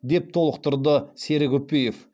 деп толықтырды серік үпиев